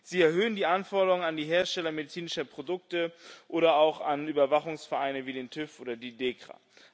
Sie erhöhen die Anforderungen an die Hersteller medizinischer Produkte oder auch an Überwachungsvereine wie den TÜV oder die Dekra.